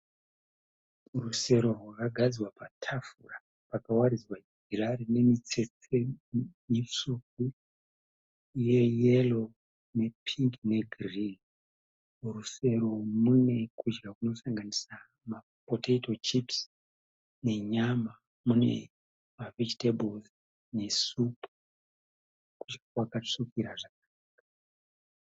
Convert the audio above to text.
Rusero rwakagadzikwa patafura rakawaridzwa jira rinemiteste mitsvuku , reyero ne pingi ne gireyi . Murusei umu mune kudya kunosanganisira mapoteto chipisi, nenyama mune ma vegetables ne supu kudya kwakatsvukira zvakanaka .